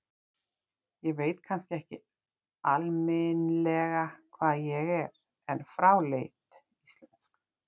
Ég veit kannski ekki alminlega hvað ég er, en fráleitt íslensk.